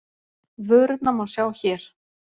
Vörurnar má sjá hér